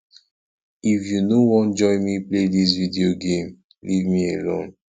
if you no wan join me play dis video game leave me alone